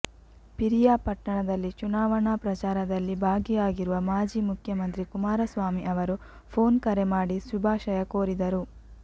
ಪಿರಿಯಾಪಟ್ಟಣದಲ್ಲಿ ಚುನಾವಣಾ ಪ್ರಚಾರದಲ್ಲಿ ಭಾಗಿಯಾಗಿರುವ ಮಾಜಿ ಮುಖ್ಯಮಂತ್ರಿ ಕುಮಾರಸ್ವಾಮಿ ಅವರು ಫೋನ್ ಕರೆ ಮಾಡಿ ಶುಭಾಶಯ ಕೋರಿದರು